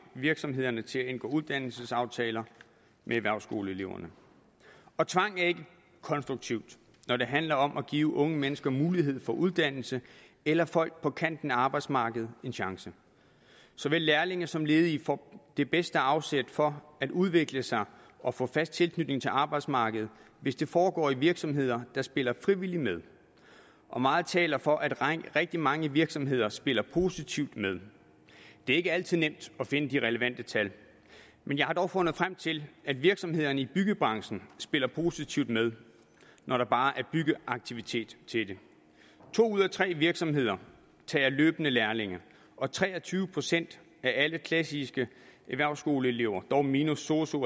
virksomhederne til at indgå uddannelsesaftaler med erhvervsskoleelever og tvang er ikke konstruktivt når det handler om at give unge mennesker mulighed for uddannelse eller folk på kanten af arbejdsmarkedet en chance såvel lærlinge som ledige får det bedste afsæt for at udvikle sig og få fast tilknytning til arbejdsmarkedet hvis det foregår i virksomheder der spiller frivilligt med og meget taler for at rigtig mange virksomheder spiller positivt med det er ikke altid nemt at finde de relevante tal men jeg har dog fundet frem til at virksomhederne i byggebranchen spiller positivt med når der bare er byggeaktivitet til det to ud af tre virksomheder tager løbende lærlinge og tre og tyve procent af alle klassiske erhvervsskoleelever dog minus sosu